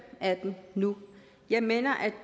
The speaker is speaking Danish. af dem nu jeg mener